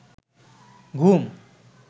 ঘুম